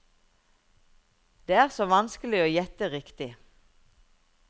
Det er så vanskelig å gjette riktig.